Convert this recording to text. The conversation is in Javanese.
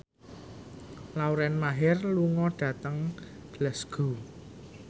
Lauren Maher lunga dhateng Glasgow